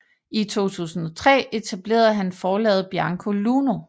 I 2003 etablerede han Forlaget Bianco Luno